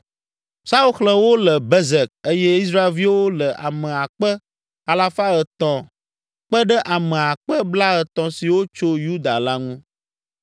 Saul xlẽ wo le Bezek eye Israelviwo le ame akpe alafa etɔ̃ kpe ɖe ame akpe blaetɔ̃ siwo tso Yuda la ŋu.